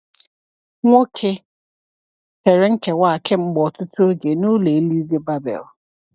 Nwoke kere nkewa a kemgbe ọtụtụ oge n’Ụlọ Eluigwe Babel.